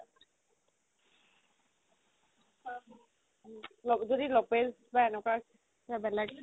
যদি বা এনেকুৱা কিবা বেলেগ